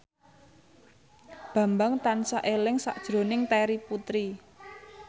Bambang tansah eling sakjroning Terry Putri